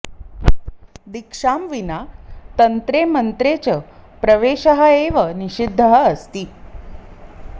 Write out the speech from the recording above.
दीक्षां विना तन्त्रे मन्त्रे च प्रवेशः एव निषिद्धः अस्ति